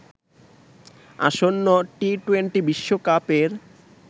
আসন্ন T twenty বিশ্বকাপের